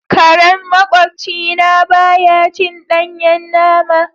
Karen maƙwabci na baya cin danyen nama.